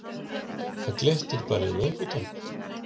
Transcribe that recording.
Það glittir bara í löngutöng.